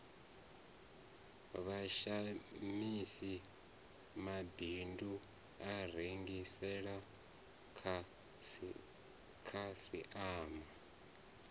vhashamisi mabindu a rengisela khasiama